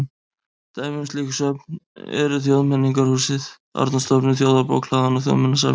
Dæmi um slík söfn eru Þjóðmenningarhúsið, Árnastofnun, Þjóðarbókhlaðan og Þjóðminjasafnið.